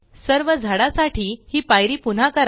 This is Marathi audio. सर्व झाडा साठी हि पायरी पुन्हा करा